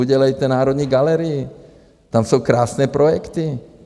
Udělejte Národní galerii, tam jsou krásné projekty.